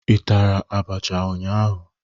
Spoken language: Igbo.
Ị tara abacha ụnyaahụ?